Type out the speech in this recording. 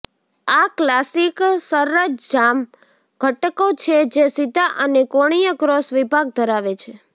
આ ક્લાસિક સરંજામ ઘટકો છે જે સીધા અને કોણીય ક્રોસ વિભાગ ધરાવે છે